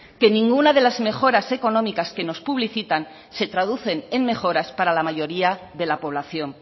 que ninguna de las mejoras económicas que nos publicitan se traducen en mejoras para la mayoría de la población